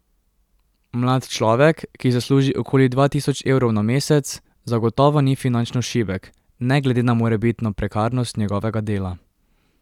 Mlad človek, ki zasluži okoli dva tisoč evrov na mesec, zagotovo ni finančno šibek, ne glede na morebitno prekarnost njegovega dela.